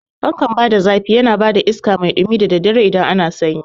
Fankan bada zafi yana bada iskan mai ɗumi da daddare idan ana sanyi